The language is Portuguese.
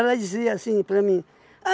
Ela dizia assim para mim.